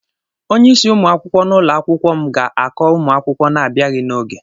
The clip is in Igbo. Onye isí ụmụ akwụkwọ n'ụlọ akwụkwọ m ga-akọ ụmụ akwụkwọ na-abịaghị n'oge.